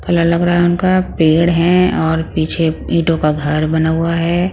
Colour लग रहा है उनका पेड़ है और पीछे ईंटों का घर बना हुआ है ।